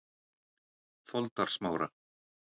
Foldarsmára